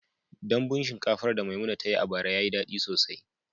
Dambun shinkafar da Maimuna ta yi a bara ya yi daɗi sosai.